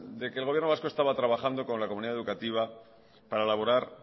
de que el gobierno vasco estaba trabajando con la comunidad educativa para elaborar